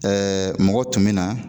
mɔgɔ tun mi na.